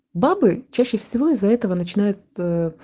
бабы чаще всего из-за этого начинает